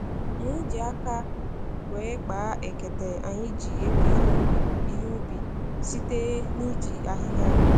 E ji aka wee kpaa ekete anyị ji ewe ihe ubi, ihe ubi, site na-iji ahịhịa